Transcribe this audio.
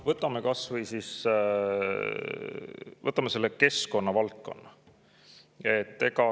Võtame kas või keskkonnavaldkonna.